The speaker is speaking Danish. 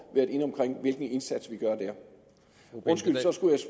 været inde på hvilken indsats vi gør der så skulle